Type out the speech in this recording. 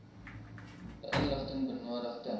inligting benodig ten